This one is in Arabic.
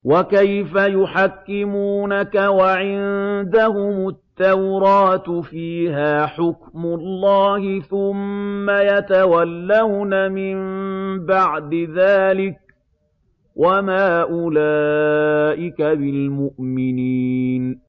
وَكَيْفَ يُحَكِّمُونَكَ وَعِندَهُمُ التَّوْرَاةُ فِيهَا حُكْمُ اللَّهِ ثُمَّ يَتَوَلَّوْنَ مِن بَعْدِ ذَٰلِكَ ۚ وَمَا أُولَٰئِكَ بِالْمُؤْمِنِينَ